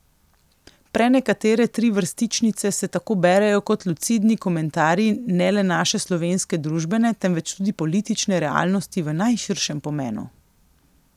Prenekatere trivrstičnice se tako berejo kot lucidni komentarji ne le naše slovenske družbene, temveč tudi politične realnosti v najširšem pomenu.